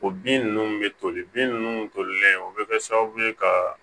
O bin nunnu bɛ toli bin ninnu tolilen o bɛ kɛ sababu ye ka